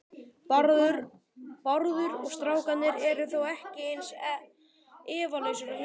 Bárður og strákurinn eru þó ekki eins efalausir og hinir.